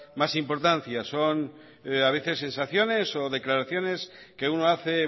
más importancia a veces son sensaciones o declaraciones que uno hace